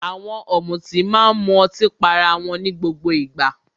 Àwọn ọ̀mùtí máa ń mu ọtí pá ará wọn ní gbogbo ìgbà.